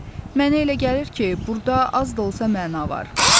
Mənə elə gəlir ki, burda az da olsa məna var.